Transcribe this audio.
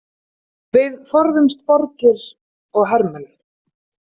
Við forðuðumst borgir og hermenn.